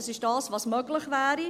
– Das ist das, was möglich wäre.